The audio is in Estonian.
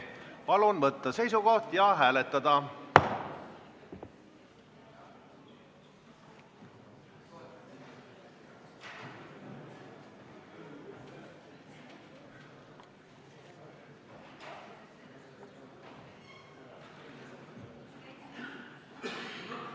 Palun võtta seisukoht ja hääletada!